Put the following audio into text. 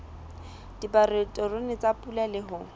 dipaterone tsa pula le ho